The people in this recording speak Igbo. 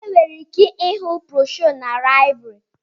Enwere ike ịhụ broshuọ na láịbụrị